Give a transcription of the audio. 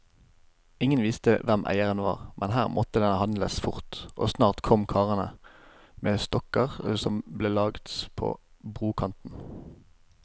Ingen visste hvem eieren var, men her måtte det handles fort, og snart kom karene med stokker som ble lagt på brokanten.